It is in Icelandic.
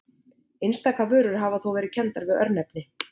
Einstaka vörur hafa þó verið kenndar við örnefni.